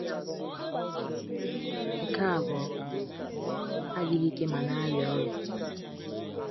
Ụmụ ya mbụ nwụrụ, nke abụọ adịghị ike ma na-arịa ọrịa.